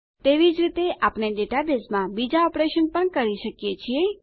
તેવી જ રીતે આપણે ડેટાબેઝમાં બીજા ઓપરેશન પણ કરી શકીએ છીએ